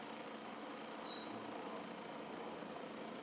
vha songo vuwa vho ya